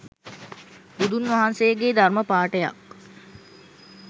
බුදුන් වහන්සේගේ ධර්ම පාඨයක්